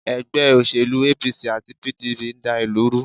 Ègbé òṣèlú APC àti PDP n dá ìlú ru